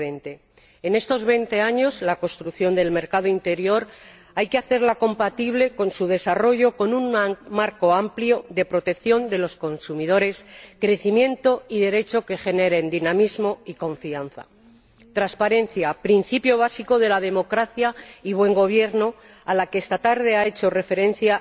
2020. En estos ocho años la construcción del mercado interior hay que hacerla compatible con su desarrollo, con un marco amplio de protección de los consumidores, con crecimiento y derechos que generen dinamismo y confianza, con transparencia principio básico de la democracia y buen gobierno a la que esta tarde ha hecho referencia